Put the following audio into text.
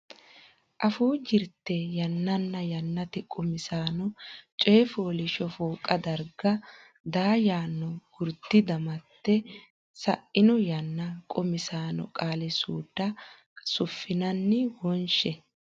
Afuu Jirte Yannanna Yannate Qummisaano coy fooliishsho fooqa darga daa yaanno gurdi damatte sa ino yanna qummissanno qaali suudda suffinanni wonshe.